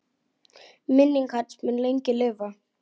Minning hans mun lengi lifa.